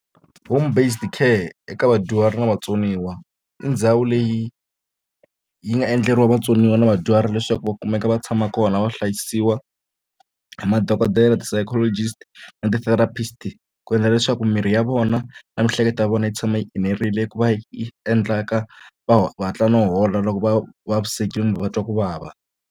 Home based ka eka vadyuhari na vatsoniwa i ndhawu leyi yi nga endleriwa vatsoniwa na vadyuhari leswaku va kumeka va tshama kona va hlayisiwa hi madokodela ti-psychologist na ti-therapist ku endla leswaku mirhi ya vona na miehleketo ya vona yi tshama yi enerile ku va yi endlaka va hatla no hola loko va vavisekile kumbe va twa ku vava.